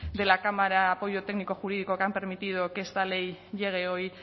de la cámara apoyo técnico jurídico que han permitido que esta ley llegue hoy